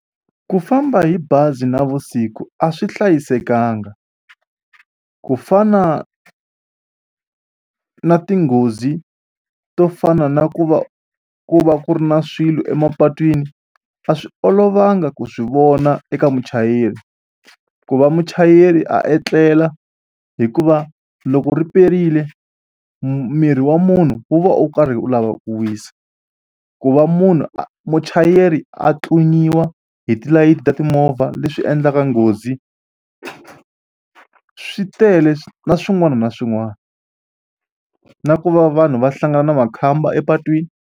Ku famba hi bazi navusiku a swi hlayisekanga ku fana na tinghozi to fana na ku va ku va ku ri na swilo emapatwini a swi olovanga ku swi vona eka muchayeri. Ku va muchayeri a etlela hikuva loko ri perile mu miri wa munhu wu va u karhi u lavaku ku wisa. Ku va munhu a muchayeri a tlunyiwa hi tilayiti ta timovha leswi endlaka nghozi swi tele na swin'wana na swin'wana na ku va vanhu va hlangana na makhamba epatwini.